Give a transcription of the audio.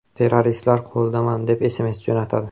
Terroristlar qo‘lidaman” deb SMS jo‘natadi .